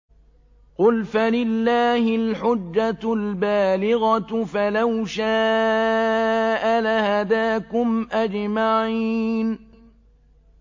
قُلْ فَلِلَّهِ الْحُجَّةُ الْبَالِغَةُ ۖ فَلَوْ شَاءَ لَهَدَاكُمْ أَجْمَعِينَ